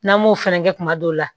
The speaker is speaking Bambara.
N'an m'o fɛnɛ kɛ kuma dɔw la